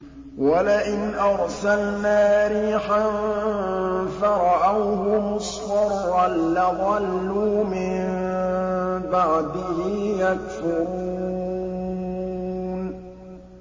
وَلَئِنْ أَرْسَلْنَا رِيحًا فَرَأَوْهُ مُصْفَرًّا لَّظَلُّوا مِن بَعْدِهِ يَكْفُرُونَ